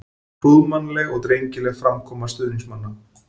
Prúðmannleg og drengileg framkoma stuðningsmanna.